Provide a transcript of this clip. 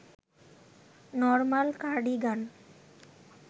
normal cardigan